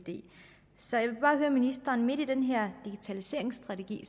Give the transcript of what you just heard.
så jeg vil bare høre ministeren midt i den her digitaliseringsstrategi